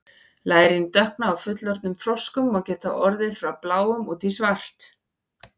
lærin dökkna á fullorðnum froskum og geta orðið frá bláum út í svart